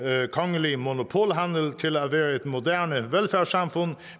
kongelig monopolhandel til at være et moderne velfærdssamfund